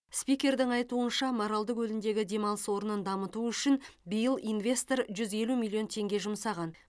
спикердің айтуынша маралды көліндегі демалыс орнын дамыту үшін биыл инвестор жүз елу миллион теңге жұмсаған